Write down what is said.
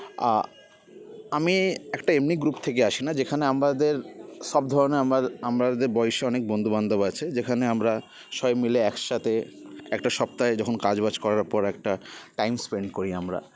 আ আমি একটা এমনি group থেকে আসিনা যেখানে আমাদের সব ধরনের আমার আমাদের বয়সী অনেক বন্ধু বান্ধব আছে যেখানে আমরা সবাই মিলে একসাথে একটা সপ্তাহে যখন কাজ বাজ করার পর একটা time spend করি আমরা